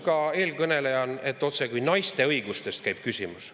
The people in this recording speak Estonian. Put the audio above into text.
Ka eelkõnelejal oli küsimus, otsekui käiks jutt naiste õigustest.